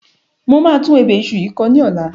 Mo máa tún ebè iṣu yìí kọ ní ọ̀la.